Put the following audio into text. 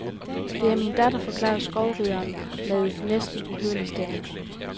Det er min datter, forklarede skovrideren med næsten uhørlig stemme.